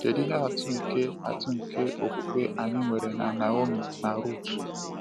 Kedu ihe atụ nke atụ nke okwukwe anyị nwere na Naomi na Ruth?